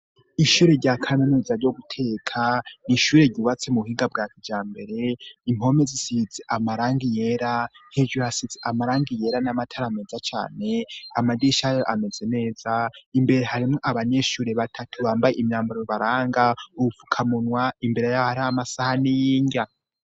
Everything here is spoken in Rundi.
Ishure rya kaminuza ryo guteka ni ishure ryubatse mu buhiga bwakijambere impome zisits amarangi yera heguasits amarangi yera n'amatarameza cyane amagishay ameze neza imbere harimwo abanyeshuri batatu bambaye imyambaru baranga ubupfukamunwa imbere yabo hari amasahani y'inrya.